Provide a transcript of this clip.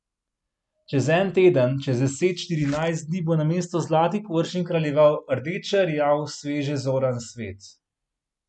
Čez en teden, čez deset, štirinajst dni bo namesto zlatih površin kraljeval rdečerjav, sveže zoran svet.